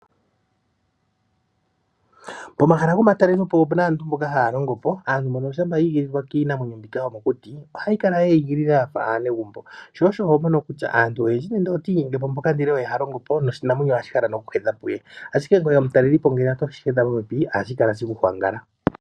Pomahala gomatalelo po opuna aantu mboka haya longo po. Aantu mbono shampa yi igilililwa kiinamwenyo mbika yomokuti ohayi kala yeyi igilila yafa aanegumbo, sho osho ho mono kutya aantu oyendji ngele oti inyenge po mpoka ndele oye ha longo po noshinamwemyo ohashi kala nokuhedha puye ashike ngoye omutalelipo ngele oweshi hedha popepi ohashi kala sheku hwangala.